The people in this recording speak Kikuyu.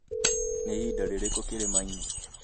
nĩ ihinda rĩrĩkũ kĩrĩma-inĩ